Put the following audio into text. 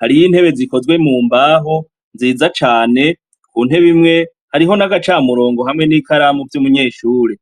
Hariho intebe zikozwe mu mbaho nziza cane. Ku ntebe imwe hariho n'agacamurongo hamwe n'ikaramu vy'umunyeshure.